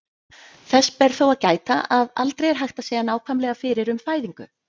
Þess ber þó að gæta, að aldrei er hægt að segja nákvæmlega fyrir um fæðingu.